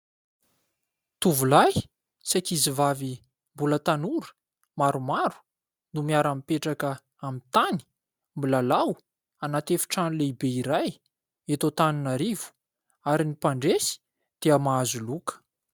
Tovolahy sy ankizivavy mbola tanora maromaro no miara-mipetraka amin'ny tany, milalao anaty efitrano lehibe iray eto Antananarivo ary ny mpandresy dia mahazo loka.